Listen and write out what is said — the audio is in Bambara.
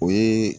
O ye